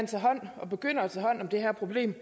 tage hånd om det her problem